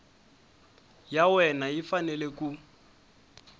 ya wena yi fanele ku